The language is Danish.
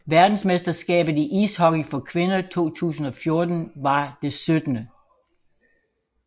Verdensmesterskabet i ishockey for kvinder 2014 var det 17